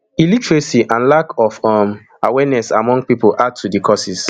illiteracy and lack of um awareness among pipo add to di causes